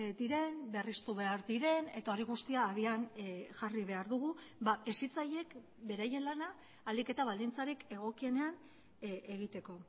diren berriztu behar diren eta hori guztia abian jarri behar dugu hezitzaileek beraien lana ahalik eta baldintzarik egokienean egiteko